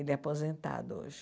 Ele é aposentado hoje.